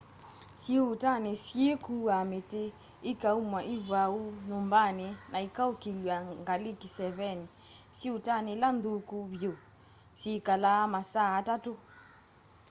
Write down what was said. syĩuutani ni syikuua miti ikaumwa ivwaũ nyumbani na ikaukilywa ngali kiseveni syiũutani ila nthũkũ vyũ syikalaa masaa atatũ